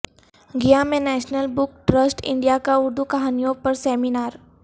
گیا میں National Book Trust India کا اردو کہانیوں پر سیمینار